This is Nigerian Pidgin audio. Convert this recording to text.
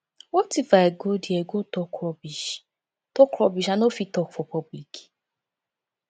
what if i go there go talk rubbish talk rubbish i no fit talk for public